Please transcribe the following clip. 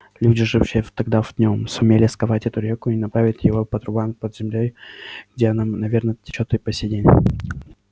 люди жившие тогда в нем сумели сковать эту реку и направить её по трубам под землёй где она наверное течёт и по сей день